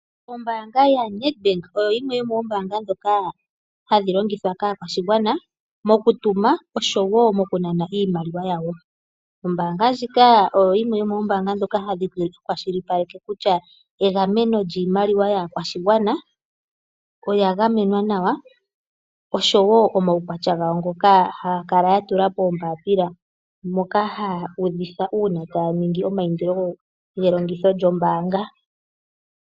Ombaanga yaNedbank oyo yimwe yomoombaanga ndhoka hadhi longithwa kaakwashigwana mokutuma osho wo mokunana iimaliwa yawo. Ombaanga ndjika oyo yimwe yomoombaanga ndhoka hadhi kwashilipaleke kutya egameno lyiimaliwa yaakwashigwana oya gamenwa nawa osho wo omaukwatya gawo ngoka haya kala ya tula moombapila ndhoka haya udhitha ngele taya ningi eindilo lyelongitho lyombaanga.